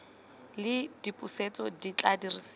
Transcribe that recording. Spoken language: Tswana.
le dipusetso di tla dirisiwa